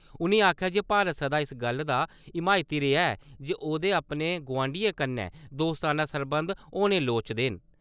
उ`नें आखेआ जे भारत सदा इस गल्ल दा हिमायती रेआ ऐ जे ओह्‌दे अपने गवांढियें कन्नै दोस्ताना सरबंध होने लोड़चदे न।